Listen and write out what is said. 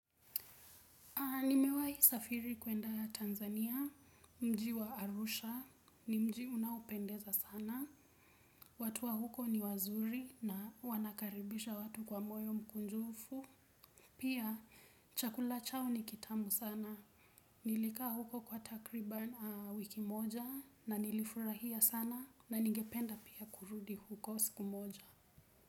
Nimewahi kusafiri kuenda Tanzania, mji wa Arusha, ni mji unaopendeza sana. Watu wa huko ni wazuri na wanakaribisha watu kwa moyo mkunjufu. Pia, chakula chao ni kitamu sana. Nilikaa huko kwa takriban aa wiki moja na nilifurahia sana na ningependa pia kurudi huko siku moja.